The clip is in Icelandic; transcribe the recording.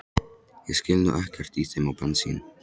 Ég skil nú ekkert í þeim á bensín